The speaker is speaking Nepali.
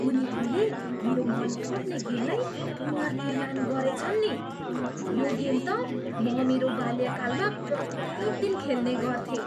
उनीहरूले मेरो मनपर्ने गेमलाई पुनर्निर्माण गरेछन् नि। यो गेम त म मेरो बाल्यकालमा प्रत्येक दिन खेल्ने गर्थेँ।